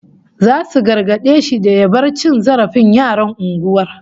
Zasu gargade shi da ya bar cin zarafin yaran unguwar